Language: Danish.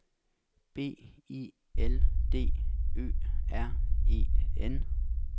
B I L D Ø R E N